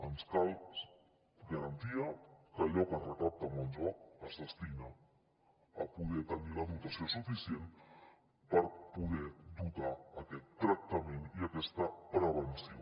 ens cal garantia que allò que es recapta amb el joc es destina a poder tenir la dotació suficient per poder dotar aquest tractament i aquesta prevenció